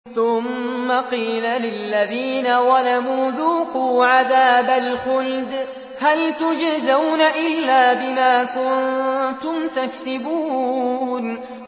ثُمَّ قِيلَ لِلَّذِينَ ظَلَمُوا ذُوقُوا عَذَابَ الْخُلْدِ هَلْ تُجْزَوْنَ إِلَّا بِمَا كُنتُمْ تَكْسِبُونَ